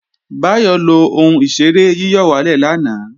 Báyọ̀ lo ohun ìṣeré yíyọ̀wálè lánàá